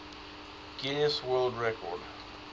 guinness world record